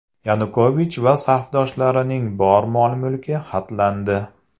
Yanukovich va safdoshlarining bor mol-mulki xatlandi.